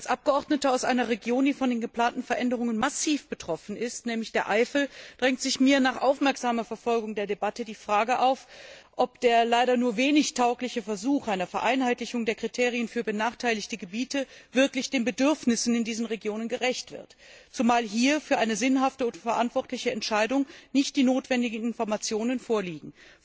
Als Abgeordnete aus einer Region, die von den geplanten Veränderungen massiv betroffen ist, nämlich der Eifel, drängt sich mir nach aufmerksamer Verfolgung der Debatte die Frage auf, ob der leider nur wenig taugliche Versuch einer Vereinheitlichung der Kriterien für benachteiligte Gebiete wirklich den Bedürfnissen in dieser Region gerecht wird, zumal hier für eine sinnhafte und verantwortliche Entscheidung nicht die notwendigen Informationen vorliegen.